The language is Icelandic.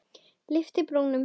Lyfti brúnum.